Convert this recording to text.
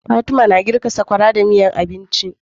Fatima na girka sakwara da miyar agushi